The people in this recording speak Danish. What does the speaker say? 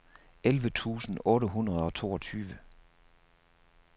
elleve tusind otte hundrede og toogtyve